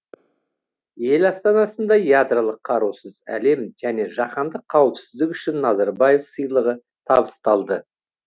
ел астанасында ядролық қарусыз әлем және жаһандық қауіпсіздік үшін назарбаев сыйлығы табысталды